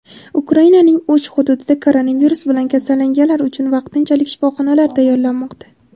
Ukrainaning uch hududida koronavirus bilan kasallanganlar uchun vaqtinchalik shifoxonalar tayyorlanmoqda.